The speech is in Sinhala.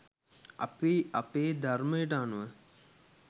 අපි අපේ ධර්මයට අනුව